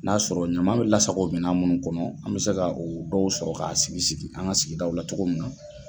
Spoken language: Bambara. N''a sɔrɔ ɲama bɛ lasako minɛn minnu kɔnɔ an bɛ se ka dɔw sɔrɔ ka sigi sigi, an ka sigida la cogo min na.